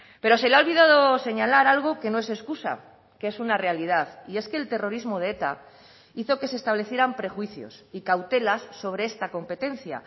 pero se le ha olvidado señalar algo que no es excusa que es una realidad y es que el terrorismo de eta hizo que se establecieran prejuicios y cautelas sobre esta competencia